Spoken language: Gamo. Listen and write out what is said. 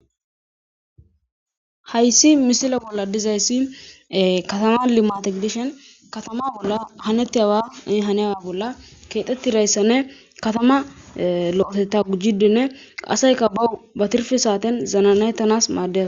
Hayssi misila bolla dizayssi katama limate gidishen katama bolla hanetti hawa haniyaa bolla keexettirayssanne katama lo7etetta gujjidinne qaseyka bawu batirfe saaten zananettanas maadea